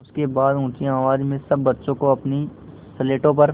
उसके बाद ऊँची आवाज़ में सब बच्चों को अपनी स्लेटों पर